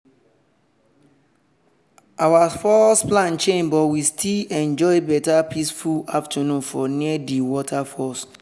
our first plan change but we still enjoy better peaceful afternoon for near di waterfalls.